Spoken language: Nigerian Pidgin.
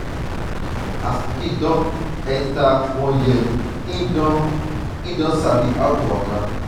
as pikin dey enter one year im don im don sabi how to waka